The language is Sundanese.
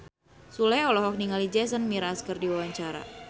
Sule olohok ningali Jason Mraz keur diwawancara